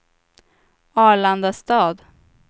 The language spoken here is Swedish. Arlandastad